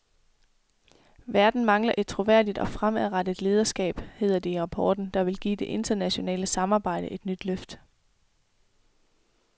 Verden mangler et troværdigt og fremadrettet lederskab, hedder det i rapporten, der vil give det internationale samarbejde et nyt løft.